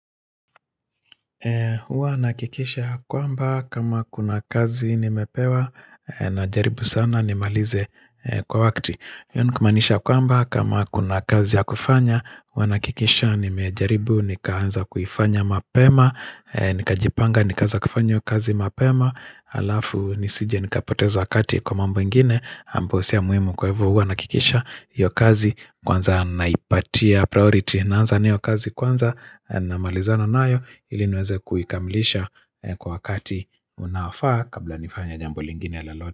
Huwa nahakikisha ya kwamba kama kuna kazi nimepewa najaribu sana nimalize kwa wakati. Yaani kumaanisha ya kwamba kama kuna kazi ya kufanya. Huwa nahakikisha nimejaribu nikaanza kuifanya mapema. Nikajipanga nikaanza kufanya hiyo kazi mapema. Alafu nisije nikapoteza wakati kwa mambo nyingine. Ambayo sio ya muhimu kwa hivo huwa nahakikisha. Hiyo kazi kwanza naipatia priority. Naanza na hiyo kazi kwanza namalizana nayo ili niweze kuikamilisha kwa wakati unaofaa kabla nifanye jambo lingine ya lolote.